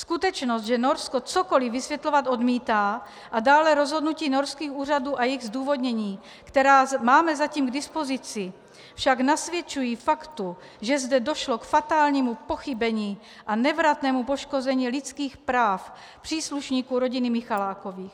Skutečnost, že Norsko cokoli vysvětlovat odmítá, a dále rozhodnutí norských úřadů a jejich zdůvodnění, která máme zatím k dispozici, však nasvědčují faktu, že zde došlo k fatálnímu pochybení a nevratnému poškození lidských práv příslušníků rodiny Michalákových.